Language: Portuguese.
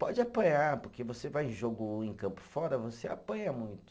Pode apanhar, porque você vai em jogo em campo fora, você apanha muito.